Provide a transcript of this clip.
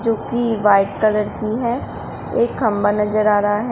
जो कि white colour की है एक खंभा नजर आ रहा है।